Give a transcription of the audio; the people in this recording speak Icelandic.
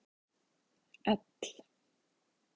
L